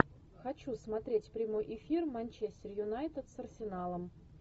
хочу смотреть прямой эфир манчестер юнайтед с арсеналом